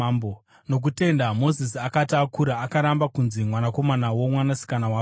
Nokutenda Mozisi akati akura, akaramba kunzi mwanakomana womwanasikana waFaro.